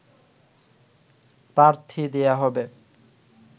প্রার্থী দেয়া হবে